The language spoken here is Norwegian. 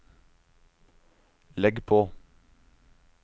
legg på